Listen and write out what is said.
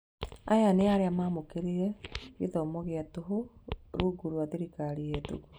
Aya nĩarĩa mamũkĩrire gĩthomo gĩa tũhũ rungu rwa thirikari hetũku